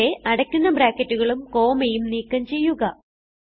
ഇവിടെ അടയ്ക്കുന്ന ബ്രാക്കറ്റുകളും കോമയും നീക്കം ചെയ്യുക